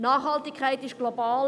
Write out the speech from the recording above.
Nachhaltigkeit ist global;